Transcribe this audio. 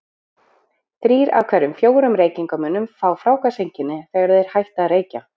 Þrír af hverjum fjórum reykingamönnum fá fráhvarfseinkenni, þegar þeir hætta að reykja.